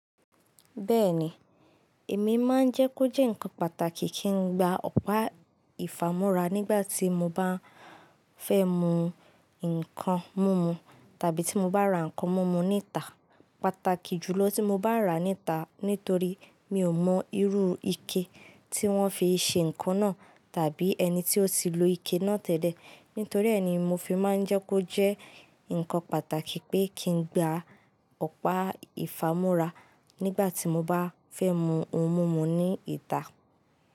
Bẹ́ẹ̀ni, èmi máa ń jẹ́ kó jẹ́ ǹkan pàtàkì kí n gba ọ̀pá ìfámúrá nígbà tí mo bá fẹ́ mu nǹkan múmu tàbí tí mo bá ra nǹkan múmu ní ìta. Pàtàkì jùlọ tí mo bá rà á ní ìta nítorí mi ò mọ irú ike tí wọ́n fi ṣe nǹkan náà tàbí ẹni tí ó ti lo ike náà tẹ́lẹ̀. Nítorí ẹ́ ni mo fi máa ń jẹ́ kó jẹ́ ǹkan pàtàkì pé kí n gba ọ̀pá ìfámúrá nígbà tí mo bá fẹ́ mu ohun múmu ní ìta.